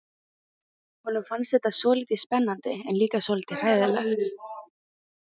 Honum fannst þetta svolítið spennandi en líka svolítið hræðilegt.